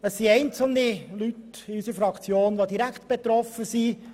Es gibt einzelne Mitglieder unserer Fraktion, die direkt betroffen sind.